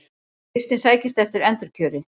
Kristinn sækist eftir endurkjöri